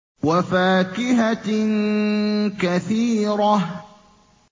وَفَاكِهَةٍ كَثِيرَةٍ